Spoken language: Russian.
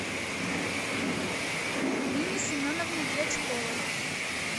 нине семеновне дьячковой